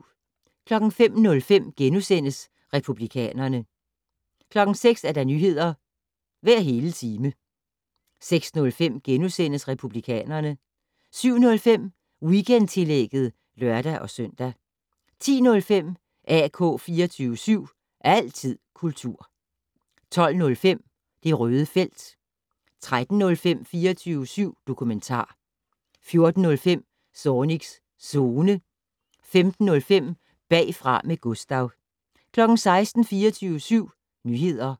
05:05: Republikanerne * 06:00: Nyheder hver hele time 06:05: Republikanerne * 07:05: Weekendtillægget (lør-søn) 10:05: AK 24syv. Altid kultur 12:05: Det Røde Felt 13:05: 24syv dokumentar 14:05: Zornigs Zone 15:05: Bagfra med Gustav 16:00: 24syv Nyheder